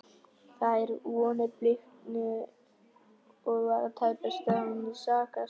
Þær vonir bliknuðu og var tæpast við hann að sakast.